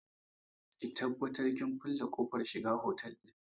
Ki tabbata kin kulle kofar shiga otal ɗin!